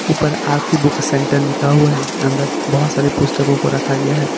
ऊपर Aarti book centre लिखा हुआ है अंदर बहोत सारी पुस्तकों को रखा गया है।